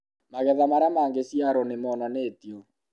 magetha marĩa magĩciarũo nĩ monanĩtio